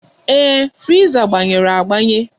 Ee, friza gbanyere agbanye.